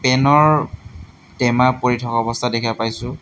টেনৰ টেমা পৰি থকা অৱস্থাত দেখিব পাইছোঁ।